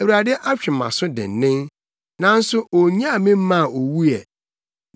Awurade atwe mʼaso dennen, nanso onyaa me mmaa owu ɛ.